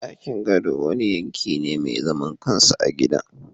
Dakin gado wani yanki ne mai zaman kansa na gidan